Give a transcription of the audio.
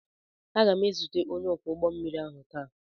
Aga m ezute onye ọkwọ ụgbọ mmiri ahụ taa.